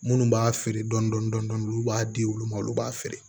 Minnu b'a feere dɔndɔni dɔndɔni dɔni olu b'a di olu ma olu b'a feere